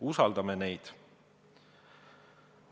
Usaldame neid!